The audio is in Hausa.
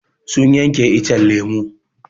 Sun yanke icen lemu.